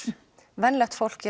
venjulegt fólk